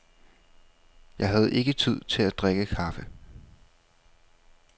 Jeg havde ikke tid til at drikke kaffe.